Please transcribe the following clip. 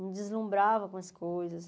Me deslumbrava com as coisas.